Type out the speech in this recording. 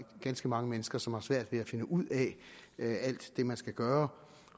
ganske mange mennesker som har svært ved at finde ud af alt det man skal gøre